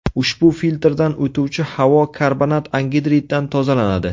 Ushbu filtrdan o‘tuvchi havo karbonat angidriddan tozalanadi.